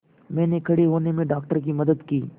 मैंने खड़े होने में डॉक्टर की मदद की